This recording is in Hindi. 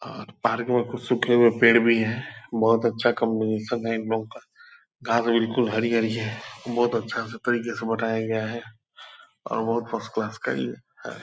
और पार्क में कुछ सूखे हुए पेड़ भी है बहुत अच्छा कॉम्बिनेशन है इनलोग का गाँव में बिल्कुल हरियाली है बहुत अच्छा से तरीके से बनाया गया है और बहुत फर्स्ट क्लास का ये है ।